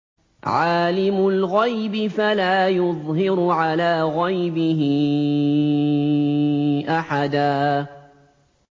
عَالِمُ الْغَيْبِ فَلَا يُظْهِرُ عَلَىٰ غَيْبِهِ أَحَدًا